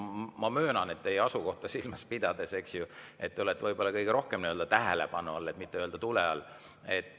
Ma möönan, teie asukohta silmas pidades, et te olete võib-olla kõige rohkem tähelepanu all, et mitte öelda tule all.